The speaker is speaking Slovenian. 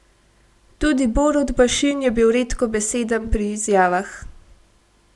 Tudi Borut Bašin je bil redkobeseden pri izjavah.